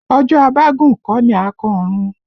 Ọjọ́ a bá gùn kọ́ ni à á kan ọ̀run